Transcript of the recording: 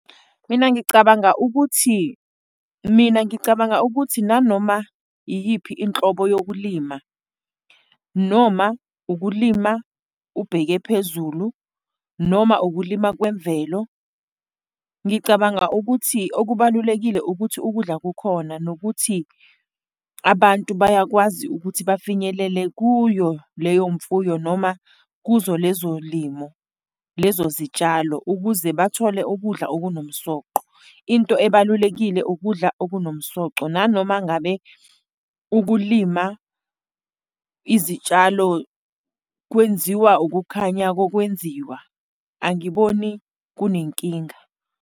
Mina ngicabanga ukuthi, mina ngicabanga ukuthi nanoma iyiphi inhlobo yokulima, noma ukulima ubheke phezulu, noma ukulima kwemvelo, ngicabanga ukuthi okubalulekile ukuthi ukudla kukhona nokuthi abantu bayakwazi ukuthi bafinyelele kuyo leyo mfuyo, noma kuzo lezo limo, lezo zitshalo, ukuze bathole ukudla okunomsoqo. Into ebalulekile ukudla okunomsoco, nanoma ngabe ukulima izitshalo kwenziwa ukukhanya kokwenziwa, angiboni kunenkinga.